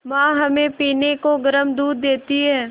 माँ हमें पीने को गर्म दूध देती हैं